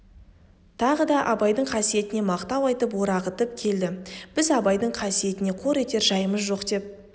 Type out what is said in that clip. тағы да абайдың қасиетіне мақтау айтып орағытып келді біз абайдың қасиетін қор етер жайымыз жоқ деп